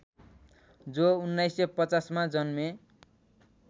जो १९५० मा जन्मे